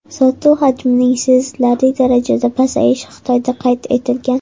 Sotuv hajmining sezilarli darajada pasayishi Xitoyda qayd etilgan.